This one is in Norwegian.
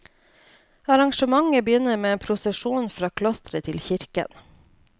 Arrangementet begynner med en prosesjon fra klosteret til kirken.